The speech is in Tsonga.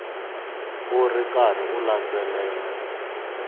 u ri karhi u landzelela